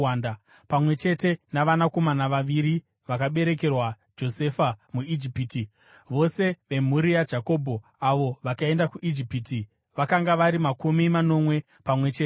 Pamwe chete navanakomana vaviri vakaberekerwa Josefa muIjipiti, vose vemhuri yaJakobho, avo vakaenda kuIjipiti, vakanga vari makumi manomwe pamwe chete.